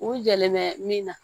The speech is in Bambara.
U jɛlen bɛ min na